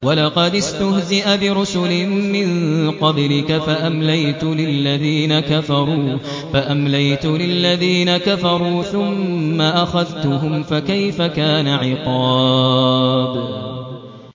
وَلَقَدِ اسْتُهْزِئَ بِرُسُلٍ مِّن قَبْلِكَ فَأَمْلَيْتُ لِلَّذِينَ كَفَرُوا ثُمَّ أَخَذْتُهُمْ ۖ فَكَيْفَ كَانَ عِقَابِ